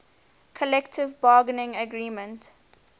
collective bargaining agreement